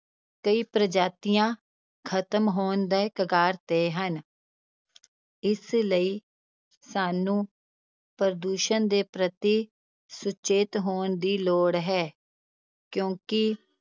ਕਈ ਪ੍ਰਜਾਤੀਆਂ ਖ਼ਤਮ ਹੋਣ ਦੀ ਕਗਾਰ ਤੇ ਹਨ ਇਸ ਲਈ ਸਾਨੂੰ ਪ੍ਰਦੂਸ਼ਣ ਦੇ ਪ੍ਰਤੀ ਸੁਚੇਤ ਹੋਣ ਦੀ ਲੋੜ ਹੈ, ਕਿਉਂਕਿ